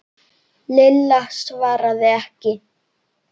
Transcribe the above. Lilla svaraði ekki.